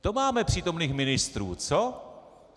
To máme přítomných ministrů, co?